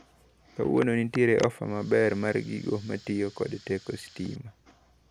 Kawuono nitiere ofa maber mar gigo matiyo kod teko sitima.